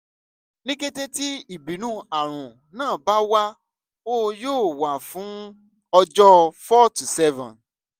ni kete ti ibinu arun naa ba wa o yóò wà fún ọjọ́ four to seven.